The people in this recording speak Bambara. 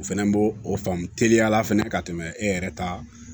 O fɛnɛ bo o faamu teliya la fɛnɛ ka tɛmɛ e yɛrɛ ta kan